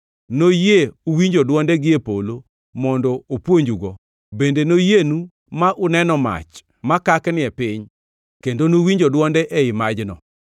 Noyie uwinjo dwonde gie polo mond opuonjugo. Bende noyienu ma uneno mach makakni e piny, kendo nuwinjo dwonde ei majno.